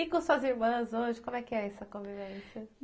E com suas irmãs hoje, como é que é essa convivência?